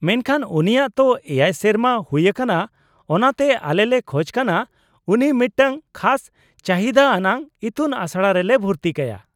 -ᱢᱮᱱᱠᱷᱟᱱ, ᱩᱱᱤᱭᱟᱜ ᱛᱚ ᱗ ᱥᱮᱨᱢᱟ ᱦᱩᱭ ᱟᱠᱟᱱᱟ ᱚᱱᱟᱛᱮ ᱟᱞᱮ ᱞᱮ ᱠᱷᱚᱪ ᱠᱟᱱᱟ ᱩᱱᱤ ᱢᱤᱫᱴᱟᱝ ᱠᱷᱟᱥ ᱪᱟᱹᱦᱤᱫᱟ ᱟᱱᱟᱜ ᱤᱛᱩᱱᱟᱥᱲᱟ ᱨᱮᱞᱮ ᱵᱷᱩᱨᱛᱤ ᱠᱟᱭᱟ ᱾